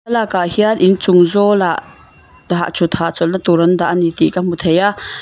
thlalak ah hian in chung zawl ah hah thut hahchawlna tur an dah tih ka hmu thei a.